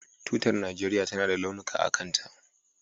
Tutar Najeriya tana da launuka a kanta.